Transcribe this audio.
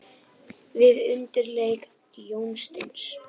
Við undirleik Jónsteins.